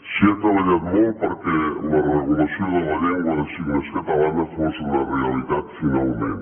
s’hi ha treballat molt perquè la regulació de la llengua de signes catalana fos una realitat finalment